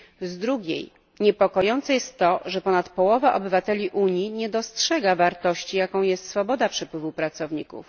Z drugiej strony niepokojące jest to, że ponad połowa obywateli Unii nie dostrzega wartości, jaką jest swoboda przepływu pracowników.